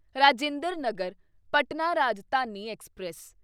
Rajinder Nagar Patna Rajdhani express